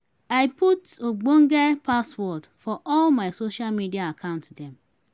i dey put ogbonge password for all my social media account dem.